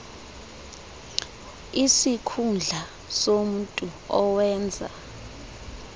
isikhundla somntu owenza